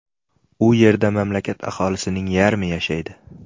U yerda mamlakat aholisining yarmi yashaydi.